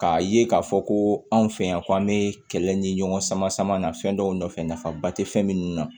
K'a ye k'a fɔ ko anw fɛ yan ko an bɛ kɛlɛ ɲini ɲɔgɔn sama sama na fɛn dɔw nɔfɛ nafaba tɛ fɛn minnu na